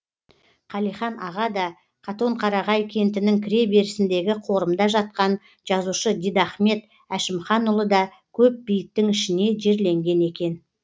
қалихан аға да катонқарағай кентінің кіре берісіндегі қорымда жатқан жазушы дидахмет әшімханұлы да көп бейіттің ішіне жерленген екен